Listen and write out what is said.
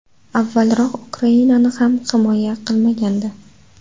Avvalroq Ukrainani ham himoya qilmagandi.